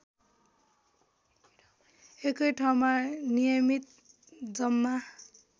एकैठाउँमा नियमित जम्मा